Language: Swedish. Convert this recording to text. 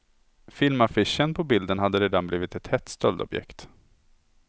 Filmaffischen på bilden har redan blivit ett hett stöldobjekt.